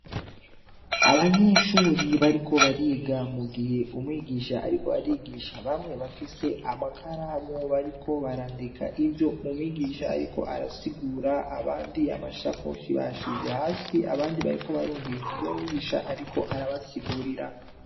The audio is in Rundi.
Abanyeshuri bariko bariga mu gihe umwigisha ariko arigisha, bamwe bafise amakaramu bariko barandika ivyo umwigisha ariko arasigura, abandi amashakoshi bayashize hasi, abandi bariko barumviriza ivyo mwigisha ariko arabasigurira.